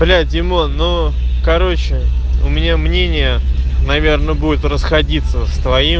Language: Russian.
бля димон ну короче у меня мнение наверное будет расходиться с твоим